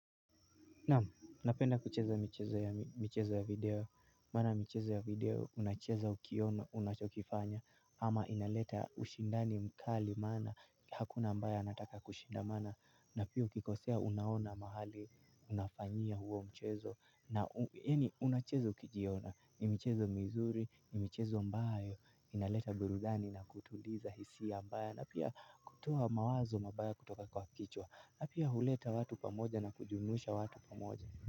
Napenda kucheza michezo ya video, Maana mchezo ya video, unacheza ukiona, unachokifanya, ama inaleta ushindani mkali maana, hakuna ambaye anataka kushindamana, na pia ukikosea unaona mahali, Unafanyia huo mchezo, na unacheza ukijiona, ni michezo mizuri, ni michezo ambayo, inaleta burudani na kutuliza hisia mbaya, na pia kutoa mawazo mabaya kutoka kwa kichwa. N pia huleta watu pamoja na kujumuisha watu pamoja.